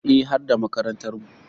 Eh, har da makarantarmu.